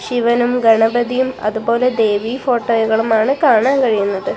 ശിവനും ഗണപതിയും അതുപോലെ ദേവി ഫോട്ടോകളുമാണ് കാണാൻ കഴിയുന്നത്.